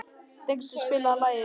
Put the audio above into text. Dengsi, spilaðu lagið „Orginal“.